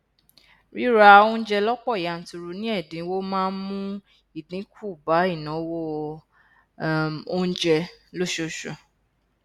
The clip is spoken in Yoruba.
ríra oúnjẹ lọpọ yanturu ní ẹdínwó máa n mú idínkù bá ìnáwó um oúnjẹ lóṣooṣù